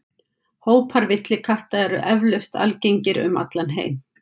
Hópar villikatta eru eflaust algengir um allan heim.